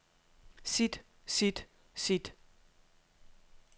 sit sit sit